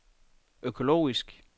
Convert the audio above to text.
økologisk